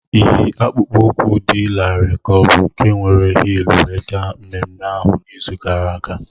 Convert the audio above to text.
Ịyi akpụkpọ ụkwụ dị larịị ka ọ bụ nke were hịịlụ wee gaa mmemme ahụ n'izu gara aga?